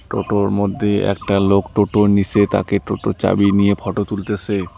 টোটোর মধ্যে একটা লোক টোটোর নিসে তাকে টোটোর চাবি নিয়ে ফটো তুলতেসে।